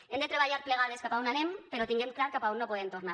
hem de treballar plegades cap a on anem però tinguem clar cap a on no podem tornar